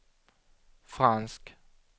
fransk